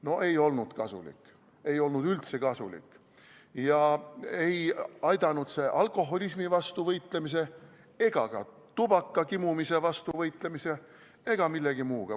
No ei olnud kasulik, ei olnud üldse kasulik ja ei aidanud see alkoholismi vastu võitlemise ega ka tubaka kimumise vastu võitlemise ega millegi muuga.